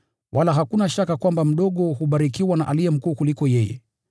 Wala hakuna shaka kwamba mdogo hubarikiwa na aliye mkuu kumliko yeye.